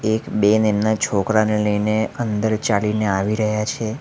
એક બેન એમના છોકરાને લઈને અંદર ચાલીને આવી રહ્યા છે.